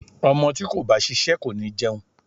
Ọmọ tí kò bá ṣiṣẹ́ kò ní jẹun.